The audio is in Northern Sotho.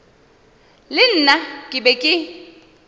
le nna ke be ke